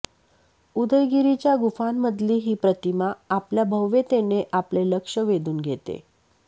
उदयगिरीच्या गुंफांमधली ही प्रतिमा आपल्या भव्यतेने आपले लक्ष वेधून घेते